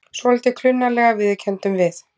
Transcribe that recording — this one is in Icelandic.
Svolítið klunnalega, viðurkenndum við.